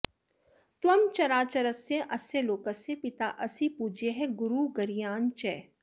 त्वं चराचरस्य अस्य लोकस्य पिता असि पूज्यः गुरुः गरीयान् च